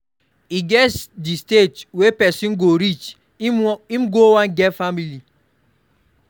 E get di stage wey person go reach im go wan get family